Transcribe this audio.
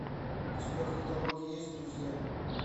у тебя в каталоге есть друзья